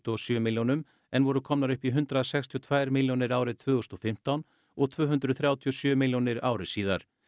og sjö milljónum en voru komnar upp í hundrað sextíu og tvær milljónir árið tvö þúsund og fimmtán og tvö hundruð þrjátíu og sjö milljónir ári síðar